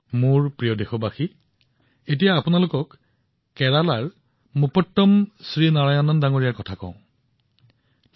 মোৰ মৰমৰ দেশবাসীসকল আমি কেৰালাৰ মুপাট্টম শ্ৰীনাৰায়ণনজীৰ বিষয়ে কথা পাতো আহক